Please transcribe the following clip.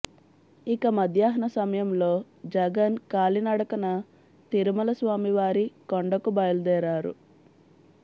ఇక మధ్యాహ్న సమయంలో జగన్ కాలినడకన తిరుమల స్వామివారి కొండకు బయలుదేరారు